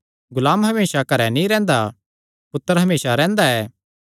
गुलाम हमेसा घरैं नीं रैंह्दा पुत्तर हमेसा रैंह्दा ऐ